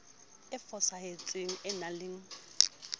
e fosahetseng e na le